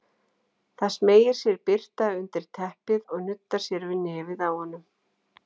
Það smeygir sér birta undir teppið og nuddar sér við nefið á honum.